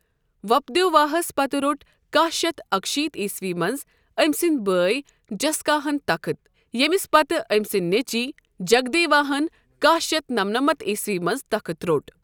ووپدیواہس پتہٕ روٚٹ کہہ شتھ اکہٕ شیٖتھ عیسوی منٛز أمۍ سٕنٛدۍ بٲے جساکا ہن تخٕت، ییٚمِس پتہٕ أمۍ سٕنٛدۍ نیٚچِوۍ جگدیوا ہن کہہ شتھ نمنمتھ عیسوی منٛز تخٕت روٚٹ۔